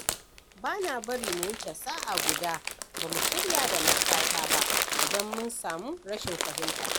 Ba na bari mu wuce sa'a guda ba mu shirya da matata ba, idan mun samu rashin fahimta.